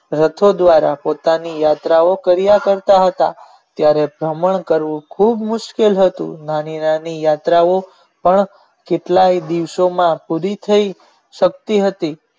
રથો દ્વારા પોતાની યાત્રા ઓ કરિયા કરતા હતા ત્યાર વમણ કરવું ખુબ મુશ્કેલ હતું નાની નાની યાત્રા ઓ પણ કેટલાય દિવસો માં પુરી થઈશકતી હતી.